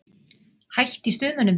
Hætt í Stuðmönnum?